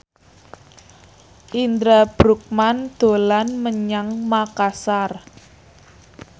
Indra Bruggman dolan menyang Makasar